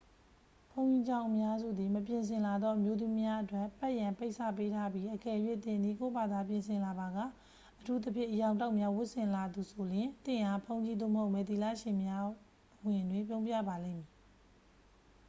ဘုန်းကြီးကျောင်းအများစုသည် မပြင်ဆင်လာသော အမျိုးသမီးများအတွက် ပတ်ရန် ပိတ်စ ပေးထားပြီး အကယ်၍ သင်သည် ကိုယ့်ဘာသာပြင်ဆင်လာပါက အထူးသဖြင့် အရောင်တောက်များဝတ်ဆင်လာသူဆိုလျှင် သင့်အား ဘုန်းကြီးသို့မဟုတ် မယ်သီလရှင်များ အဝင်တွင် ပြုံးပြပါလိမ့်မည်